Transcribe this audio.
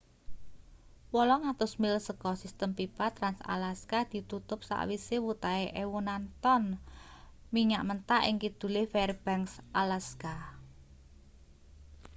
800 mil saka sistem pipa trans-alaska ditutup sakwise wutahe ewonan tong minyak mentah ing kidule fairbanks alaska